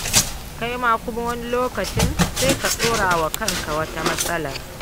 Kai ma kuma wani lokaci sai ka ɗora wa kanka wata matsalar.